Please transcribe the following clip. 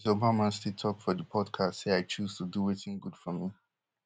mrs obama still tok for di podcast say i choose to do wetin good for me